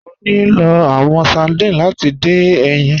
Mọ̀ ní lọ̀ awọn sardines láti dín ẹyin.